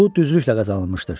Bu düzlüklə qazanılmışdır.